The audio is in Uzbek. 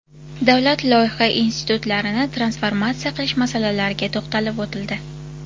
Davlat loyiha institutlarini transformatsiya qilish masalalariga to‘xtalib o‘tildi.